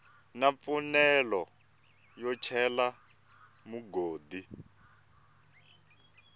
na mfanelo yo cela mugodi